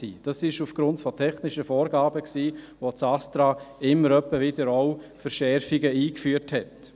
Dies ist aufgrund technischer Vorgaben der Fall, da das Bundesamt für Strassen (ASTRA) immer wieder Verschärfungen eingeführt hat.